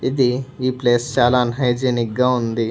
ఇది ఈ ప్లేస్ చాలా అన్ హైజినిక్ గా ఉంది.